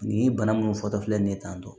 Nin bana munnu fɔtɔ filɛ nin ye tantɔ